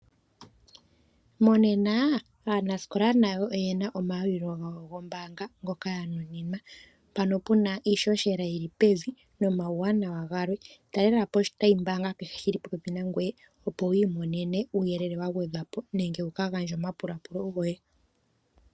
Monena aanasikola nayo oyena omayalulilo gawo gombaanga ngoka ya nuninwa, mpoka pena iishoshela yili pevi nomauwanawa galwe, talelapo oshitayi mbaanga kehe shili popepi nangwe opo wiimonene uuyelele wa gwedhwa po nenge wuka gandje omapulapulo goye.